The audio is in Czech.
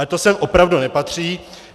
Ale to sem opravdu nepatří.